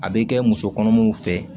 A bɛ kɛ musokɔnɔmaw fɛ